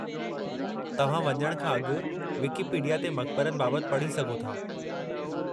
तव्हां वञण खां अॻु विकीपीडिया ते मकबरनि बाबति पढ़ी सघो था।